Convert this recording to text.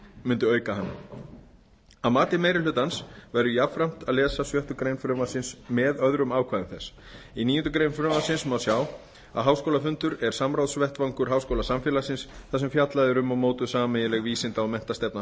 mundi auka hana að mati meiri hlutans verður jafnframt að lesa sjöttu greinar frumvarpsins með öðrum ákvæðum þess í níundu grein frumvarpsins má sjá að háskólafundur er samráðsvettvangur háskólasamfélagsins þar sem fjallað er um og mótuð sameiginleg vísinda og menntastefna